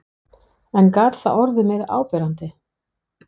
En gat það orðið meira áberandi?